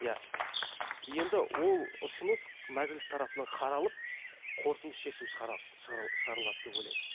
иә енді ол ұсыныс мәжіліс тарапынан қаралып қортынды шешім шығарылады деп ойлаймын